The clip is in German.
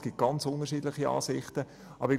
Es gibt sehr unterschiedliche Ansichten dazu.